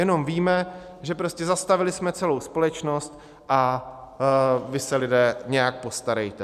Jenom víme, že prostě zastavili jsme celou společnost a vy se, lidé, nějak postarejte.